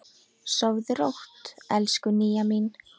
Sofðu rótt, elsku Nýja mín.